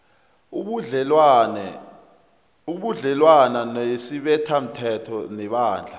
ubudlelwana nesibethamthetho nebandla